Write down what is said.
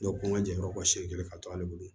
n ka jɛ yɔrɔ kɔsi kelen ka to ale bolo